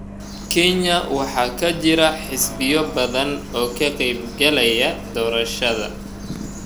Kenya waxaa ka jira xisbiyo badan oo ka qeyb galaya doorashada.